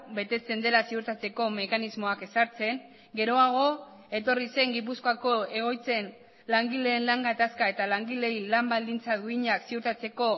betetzen dela ziurtatzeko mekanismoak ezartzen geroago etorri zen gipuzkoako egoitzen langileen lan gatazka eta langileei lan baldintza duinak ziurtatzeko